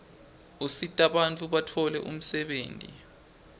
usitabantfu batfole umsebtniti